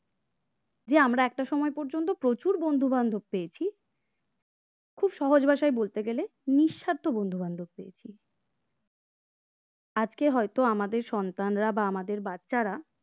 আমরা একটা সময় পর্যন্ত প্রচুর বন্ধুবান্ধব পেয়েছি খুব সহজ ভাষায় বলতে গেলে নিঃস্বার্থ বন্ধুবান্ধ পেয়েছি আজকে হয়তো আমাদের সন্তানরা বা আমাদের বাচ্চারা